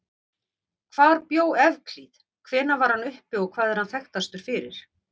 Hvar bjó Evklíð, hvenær var hann uppi og hvað er hann þekktastur fyrir?